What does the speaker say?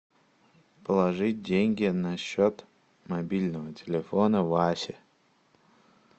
положить деньги на счет мобильного телефона васи